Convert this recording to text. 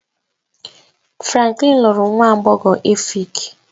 Franklin lụrụ nwa agbọghọ Efik